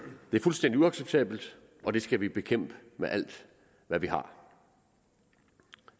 det er fuldstændig uacceptabelt og det skal vi bekæmpe med alt hvad vi har